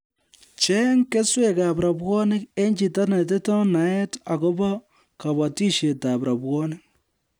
Cheng keswekab rabwonik eng chito netindoi neat akobo kobotishetab rabwonik